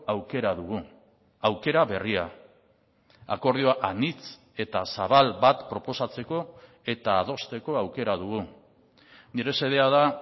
aukera dugu aukera berria akordioa anitz eta zabal bat proposatzeko eta adosteko aukera dugu nire xedea da